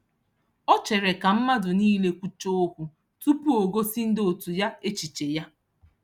O chere ka mmadụ niile kwuchaa okwu tupu o gosi ndị otu ya echiche ya.